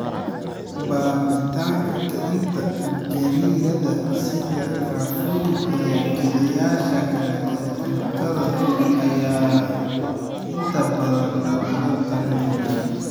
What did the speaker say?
Baabi'inta "kicinta" gariirada sida caffeine iyo kiciyeyaasha kale ee cuntada ayaa inta badan lagula talinayaa.